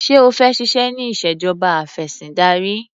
Ṣé o fẹ́ ṣiṣẹ́ ní ìṣèjọba afẹ̀sìndarí?